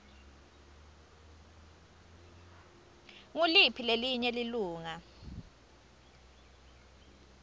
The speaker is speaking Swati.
nguliphi lelinye lilunga